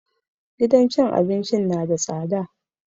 Gidan cin abincin na da tsada